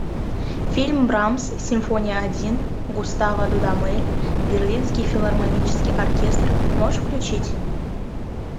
фильм брамс симфония один густаво дудамель берлинский филармонический оркестр можешь включить